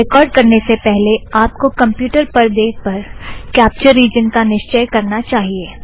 record करने से पहले आप को कमप्युटर परदे पर कॅप्चर रिजन का निश्चय करना चाहिए